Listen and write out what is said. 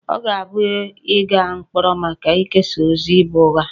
Ọ ga-abụ ịga mkpọrọ maka ikesa ozi bụ ụgha